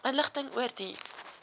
inligting oor die